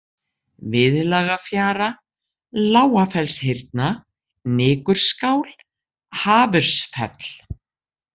Viðlagafjara, Lágafellshyrna, Nykurskál, Hafursfell